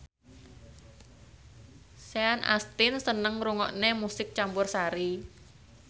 Sean Astin seneng ngrungokne musik campursari